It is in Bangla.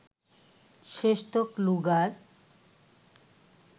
শেষতক লুগার